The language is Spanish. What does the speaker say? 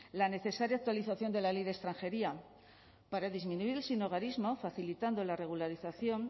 la necesaria actualización de la ley de extranjería para disminuir el sinhogarismo facilitando la regularización